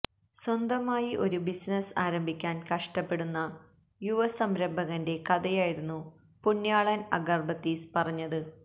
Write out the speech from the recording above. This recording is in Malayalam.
സ്വന്തമായി ഒരുബിസിനസ് ആരംഭിക്കാന് കഷ്ടപ്പെടുന്ന യുവസംരഭകന്റെ കഥയായിരുന്നു പുണ്യാളന് അഗര്ബത്തീസ് പറഞ്ഞത്